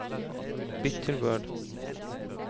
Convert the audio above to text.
Bytt til Word